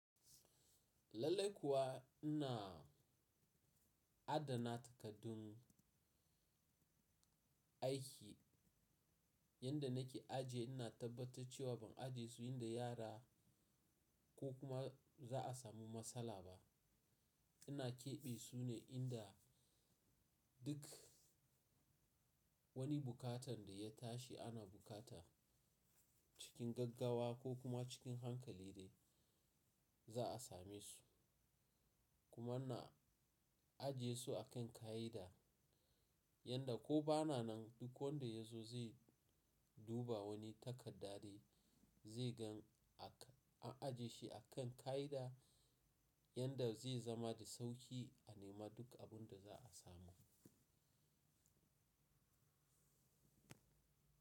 Lallai kuwa ina adana takardun aiki yadda nake ajiye, ina tabbatar cewa ban ajiye su inda yara ko kuma za a samu matsala ba. Ina keɓe su ne inda duk wani bukatan da ya tashi ana bukata cikin gaggawa ko kuma cikin hankali de za a same su. Kuma ina ajiye su a kan ka’ida yanda ko bana nan duk wanda ya zo zai duba wani takarda dai zai gan ak, an ajiye shi a kan ka’ida yadda zai zama da sauƙi a nema duk abun da za a samu.